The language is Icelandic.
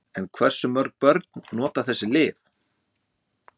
En hversu mörg börn nota þessi lyf?